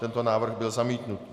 Tento návrh byl zamítnut.